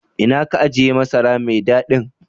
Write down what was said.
Ina ka ajie masara mai dadin?